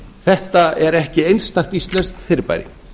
þetta er ekki einstakt íslenskt fyrirbæri